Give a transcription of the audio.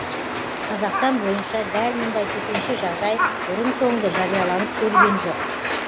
қазақстан бойынша дәл мұндай төтенше жағдай бұрын соңды жарияланып көрген жоқ